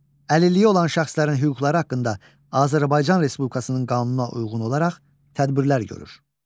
Əlilliyi olan şəxslərin hüquqları haqqında Azərbaycan Respublikasının qanununa uyğun olaraq tədbirlər görür.